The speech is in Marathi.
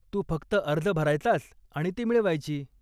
तू फक्त अर्ज भरायचास आणि ती मिळवायची.